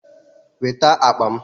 Weta m akpa m!